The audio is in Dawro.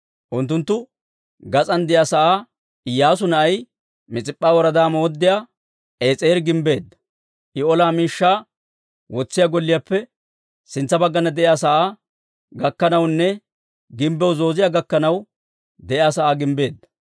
Unttunttu gas'aan de'iyaa sa'aa Iyyaasu na'ay, Mis'ip'p'a woradaa mooddiyaa Es'eeri gimbbeedda; I olaa miishshaa wotsiyaa golliyaappe sintsa baggana de'iyaa sa'aa gakkanawunne gimbbiyaw zooziyaa gakkanaw de'iyaa sa'aa gimbbeedda.